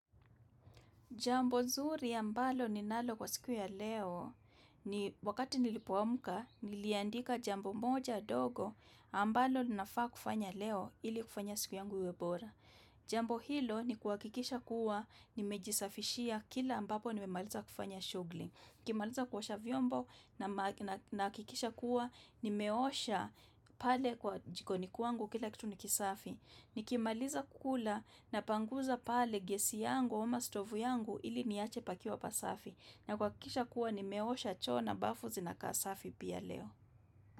Jambo zuri ambalo ninalo kwa siku ya leo, wakati nilipoamka, niliandika jambo moja ndogo, ambalo ninafaa kufanya leo ili kufanya siku yangu iwe bora. Jambo hilo ni kuhakikisha kuwa, nimejisafishia kila ambapo nimemaliza kufanya shugli. Nikimaliza kuosha vyombo nahakikisha kuwa, nimeosha pale kwa jikoni kwangu kila kitu ni kisafi. Nikimaliza kukula napanguza pale gesi yangu ama stovu yangu ili niache pakiwa pasafi. Na kuhakikisha kuwa nimeosha choo na bafu zinakaa safi pia leo.